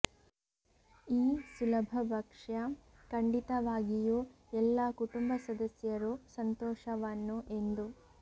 ಈ ಸುಲಭ ಭಕ್ಷ್ಯ ಖಂಡಿತವಾಗಿಯೂ ಎಲ್ಲಾ ಕುಟುಂಬ ಸದಸ್ಯರು ಸಂತೋಷವನ್ನು ಎಂದು